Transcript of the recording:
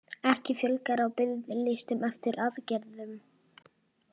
Ekki fjölgar á biðlistum eftir aðgerðum